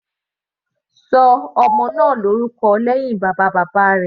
Ṣọ ọmọ náà lórúkọ lẹ́hìn bàbá bàbá rẹ̀.